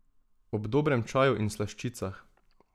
Ob dobrem čaju in slaščicah.